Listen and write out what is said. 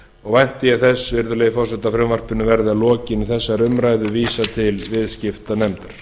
og vænti ég þess virðulegi forseti að frumvarpinu verði að lokinni þessari umræðu vísað til viðskiptanefndar